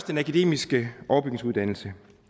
den akademiske overbygningsuddannelse